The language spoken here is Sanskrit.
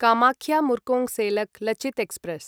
कामाख्य मुर्कोङ्सेलेक् लचित् एक्स्प्रेस्